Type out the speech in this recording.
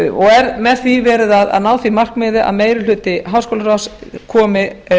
og er með því verð að ná því markmiði að meiri hluti háskólaráðs komi